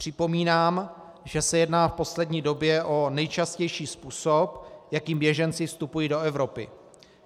Připomínám, že se jedná v poslední době o nejčastější způsob, jakým běženci vstupují do Evropy.